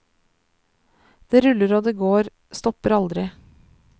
Det ruller og det går, stopper aldri.